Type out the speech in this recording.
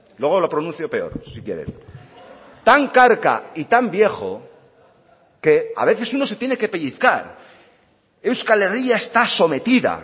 luego lo pronuncio peor si quieren tan carca y tan viejo que a veces uno se tiene que pellizcar euskal herria está sometida